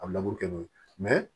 A bɛ kɛ n'o ye